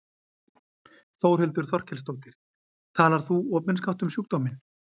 Þórhildur Þorkelsdóttir: Talar þú opinskátt um sjúkdóminn?